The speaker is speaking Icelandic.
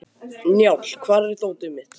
Njáll, hvar er dótið mitt?